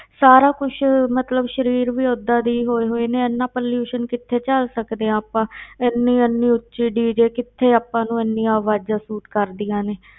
ਸਾਰਾ ਕੁਛ ਮਤਲਬ ਸਰੀਰ ਵੀ ਓਦਾਂ ਦੇ ਹੀ ਹੋਏ ਹੋਏ ਨੇ, ਇੰਨਾ pollution ਕਿੱਥੇ ਝੱਲ ਸਕਦੇ ਹਾਂ ਆਪਾਂ ਇੰਨੀ ਇੰਨੀ ਉੱਚੀ DJ ਕਿੱਥੇ ਆਪਾਂ ਨੂੰ ਇੰਨੀਆਂ ਆਵਾਜ਼ਾਂ ਸੂਟ ਕਰਦੀਆਂ ਨੇ।